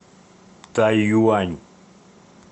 тайюань